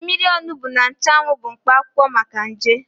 Mmiri onugbo na nchụanwụ bụ mkpa akwụkwọ maka nje.